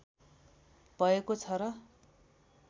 भएको छ र